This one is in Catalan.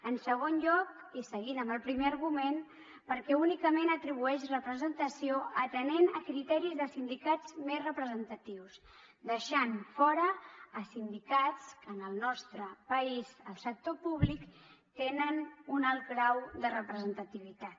en segon lloc i seguint amb el primer argument perquè únicament atribueix representació atenent a criteris de sindicats més representatius deixant fora a sindicats que en el nostre país al sector públic tenen un alt grau de representativitat